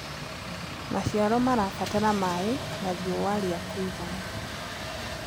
Macĩaro marabatara maĩ na rĩũ rĩa kũĩgana